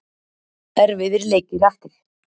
Erfiðir leikir eftir.